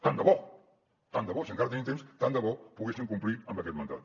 tant de bo tant de bo si encara tenim temps poguéssim complir amb aquest mandat